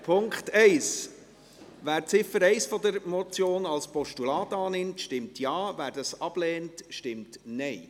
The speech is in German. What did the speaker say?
Wer die Ziffer 1 dieser Motion als Postulat annimmt, stimmt Ja, wer dies ablehnt, stimmt Nein.